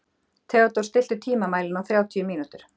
Theodór, stilltu tímamælinn á þrjátíu mínútur.